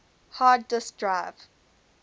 hard disk drive